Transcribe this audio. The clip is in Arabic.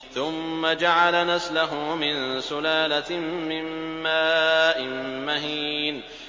ثُمَّ جَعَلَ نَسْلَهُ مِن سُلَالَةٍ مِّن مَّاءٍ مَّهِينٍ